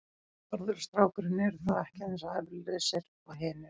Bárður og strákurinn eru þó ekki eins efalausir og hinir.